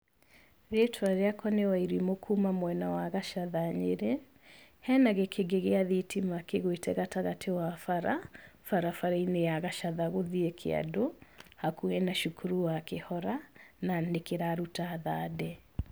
Rĩĩtwa rĩakwa nĩ Wairimu kuma mwena wa Gacatha Nyeri, hena gĩkĩngĩ gĩa thitima kĩgwite gatagatĩ wa bara, barabarainĩ ya Gacatha gũthiĩ kĩandũ, hakuhĩ na cukuru wa kĩhora, na nĩkĩraruta thandĩ.